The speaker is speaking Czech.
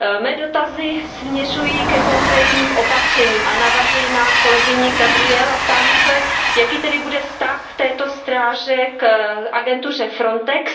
Mé dotazy směřují ke konkrétním opatřením, navazuji na kolegyni Gabrielovou a ptám se Jaký bude vztah této stráže k agentuře Frontex?